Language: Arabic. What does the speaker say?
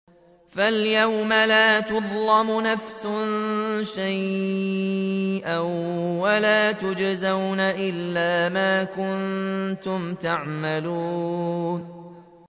فَالْيَوْمَ لَا تُظْلَمُ نَفْسٌ شَيْئًا وَلَا تُجْزَوْنَ إِلَّا مَا كُنتُمْ تَعْمَلُونَ